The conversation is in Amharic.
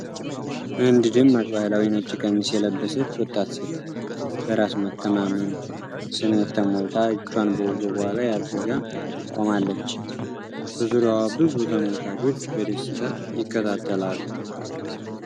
አንድ ደማቅ ባህላዊ ነጭ ቀሚስ የለበሰች ወጣት ሴት በራስ መተማመን ስሜት ተሞልታ እጇን በወገቧ ላይ አድርጋ ቆማለች፤ በዙሪያዋ ብዙ ተመልካቾች በደስታ ይከታተላሉ።